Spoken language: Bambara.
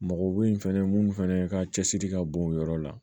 Mɔgɔw bɛ yen fɛnɛ mun fɛnɛ ka cɛsiri ka bon o yɔrɔ la